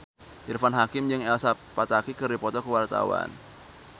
Irfan Hakim jeung Elsa Pataky keur dipoto ku wartawan